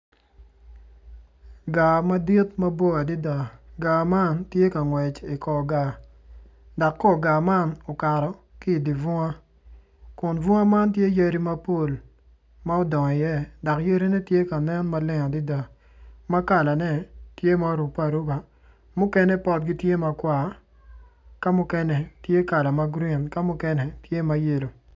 Gaa madit mabor adida gaa man ti ka ngwec i kor gaa dak kor gaa man ukato ki i di bunga kun bunga man tye yadi mapol ma udongo iye kun yadine tye ka nen mapol adida ma kalane tye ma oruppe aruba mukene potgi tye makwar ka mukene tye kala ma gurin ka mukene tye mayello